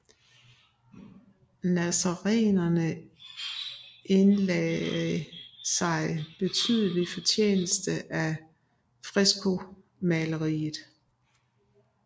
Nazarenerne indlagde sig betydelig fortjeneste af freskomaleriet